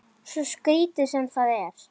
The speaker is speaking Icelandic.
Svo skrítið sem það er.